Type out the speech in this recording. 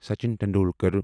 Sachin Tendulkar